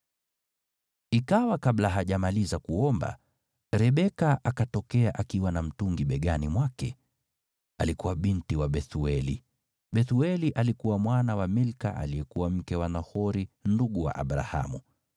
Ikawa kabla hajamaliza kuomba, Rebeka akatokea akiwa na mtungi begani mwake. Alikuwa binti wa Bethueli. Bethueli alikuwa mwana wa Milka aliyekuwa mke wa Nahori ndugu wa Abrahamu.